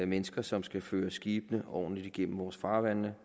mennesker som skal føre skibene ordentligt igennem vores farvande